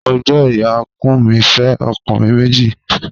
Mo gbo iya Kunmi fe okunrin meji.